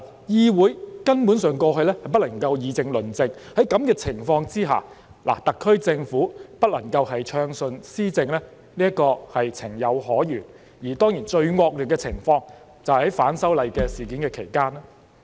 議會根本在過去不能議政論政，在這個情況下，特區政府不能暢順施政是情有可原，而當然最惡劣的情況，就是出現在反修例事件期間。